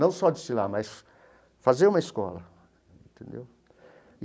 Não só desfilar, mas fazer uma escola entendeu.